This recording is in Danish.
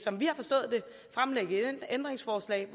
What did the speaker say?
ændringsforslag